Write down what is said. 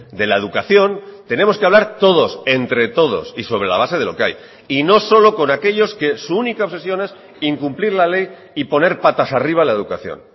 de la educación tenemos que hablar todos entre todos y sobre la base de lo que hay y no solo con aquellos que su única obsesión es incumplir la ley y poner patas arriba la educación